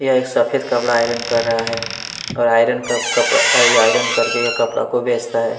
यह एक सफेद कपड़ा आयरन कर रहा है और आयरन क कपड़ा अ आयरन कर के ये कपड़ा को बेचता है।